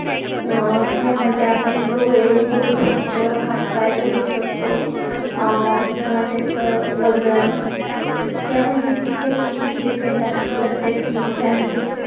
अं या मध्ये आपण डोळे बघू शकतो. हात पाय बघू शकतो. अं किंव्हा त्याच वजन यावर देखील त्याच खूप depend असत जर, त्याची इच्छा असेल.